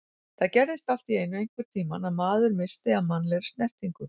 Það gerðist allt í einu einhvern tímann að maður missti af mannlegri snertingu.